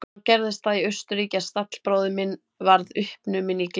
Þá gerðist það í Austurríki að stallbróðir minn varð uppnuminn í gleðihúsi.